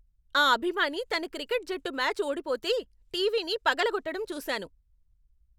ఆ అభిమాని తన క్రికెట్ జట్టు మ్యాచ్ ఓడిపోతే టీవీని పగలగొట్టడం చూసాను.